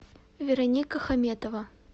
вероника хаметова